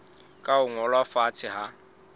ka ho ngolwa fatshe ha